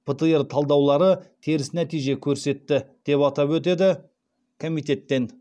птр талдаулары теріс нәтиже көрсетті деп атап өтеді комитеттен